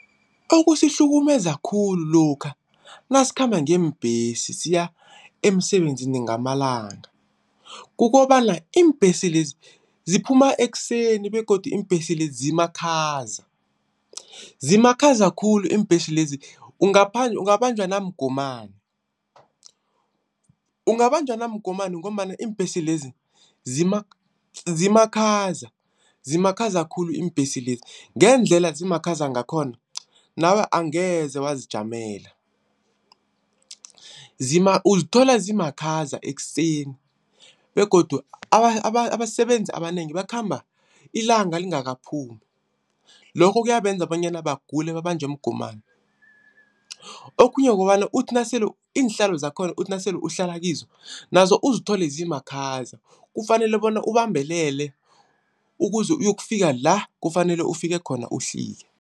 Okusihlukumeza khulu lokha nasikhamba ngeembhesi siya emsebenzini ngamalanga. Kukobana iimbhesi lezi ziphuma ekuseni begodu iimbhesi lezi zimakhaza. Zimakhaza khulu iimbhesi lezi ungabanjwa namgomani. Ungabanjwa namgomani ngombana iimbhesi lezi zimakhaza, zimakhaza khulu iimbhesi lezi. Ngendlela zimakhaza ngakhona, nawe angeze wazijamele. Uzithola zimakhaza ekuseni begodu abasebenzi abanengi bakhamba ilanga lingakaphumi. Lokho kuyabenza bonyana bagule babanjwe mgomani. Okhunye kukobana uthi nasele, iinhlalo zakhona uthi nasele uhlala kizo nazo uzithole zimakhaza kufanele bona ubambelele ukuze uyokufika la kufanele ufike khona uhlike.